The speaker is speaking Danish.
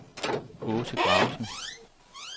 Aase Gravesen